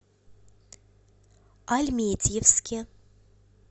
альметьевске